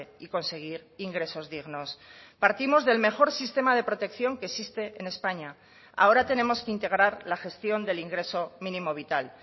y conseguir ingresos dignos partimos del mejor sistema de protección que existe en españa ahora tenemos que integrar la gestión del ingreso mínimo vital